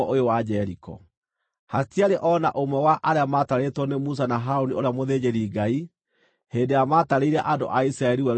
Hatiarĩ o na ũmwe wa arĩa matarĩtwo nĩ Musa na Harũni ũrĩa mũthĩnjĩri-Ngai, hĩndĩ ĩrĩa maatarĩire andũ a Isiraeli werũ-inĩ wa Sinai.